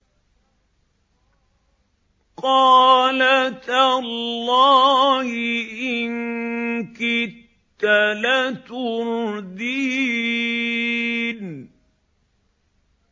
قَالَ تَاللَّهِ إِن كِدتَّ لَتُرْدِينِ